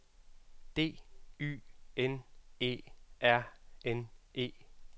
D Y N E R N E